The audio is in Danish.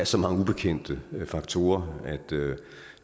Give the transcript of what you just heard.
så mange ubekendte faktorer at